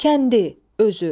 Kəndi, özü.